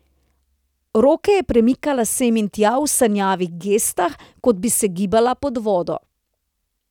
Roke je premikala sem in tja v sanjavih gestah, kot bi se gibala pod vodo.